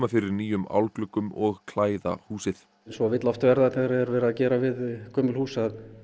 fyrir nýjum og klæða húsið eins og vill oft verða þegar verið er að gera við gömul hús